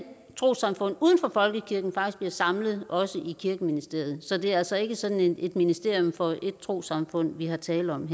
trossamfund uden for folkekirken faktisk bliver samlet også i kirkeministeriet så det er altså ikke sådan et ministerium for ét trossamfund vi her taler om